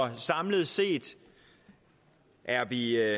samlet set er vi